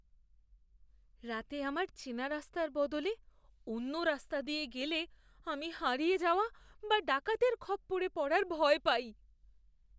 রাতে আমার চেনা রাস্তার বদলে অন্য রাস্তা দিয়ে গেলে আমি হারিয়ে যাওয়া বা ডাকাতের খপ্পরে পড়ার ভয় পাই।